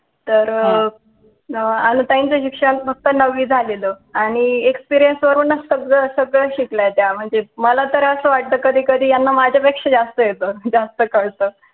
तर अं अनु ताई च शिक्षण फक्त नवी झालेल आणि experience च सगळं सगळं शिकल्या त्या म्हणजे मला ता असं वाट कधी कधी यांना माझ्या पेक्षा जास्त येत जास्त कळतं